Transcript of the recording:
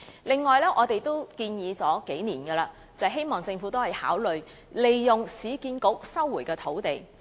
此外，我們已提出多年，希望政府可以考慮利用市區重建局收回的土地。